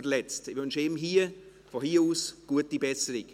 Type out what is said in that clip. Ich wünsche ihm von hier aus gute Besserung.